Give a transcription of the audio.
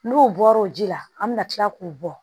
N'o bɔra o ji la an bɛ kila k'o bɔ